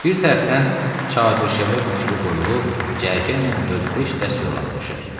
Bir tərəfdən çadırşəbə bükülü qoyulub cərgə ilə dörd-beş dəst yorğan döşək.